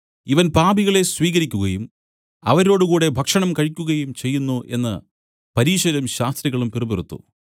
ഇവൻ പാപികളെ സ്വീകരിക്കുകയും അവരോടുകൂടി ഭക്ഷണം കഴിക്കുകയും ചെയ്യുന്നു എന്നു പരീശരും ശാസ്ത്രികളും പിറുപിറുത്തു